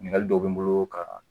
Ɲininkali dɔ bɛ n bolo ka